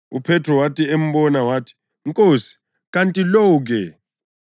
UPhethro wathi embona wathi, “Nkosi, kanti lo-ke?”